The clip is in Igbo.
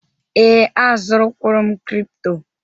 Ee, azụrụ kwụrụ m kripto.